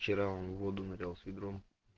вчера он воду налил с ведром